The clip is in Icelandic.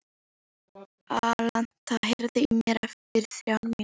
Alanta, heyrðu í mér eftir þrjár mínútur.